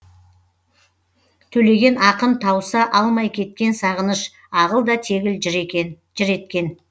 төлеген ақын тауса алмай кеткен сағыныш ағыл да тегіл жыр еткен